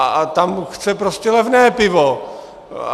A tam chce prostě levné pivo.